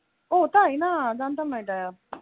ও তাই না জানতাম না এটা,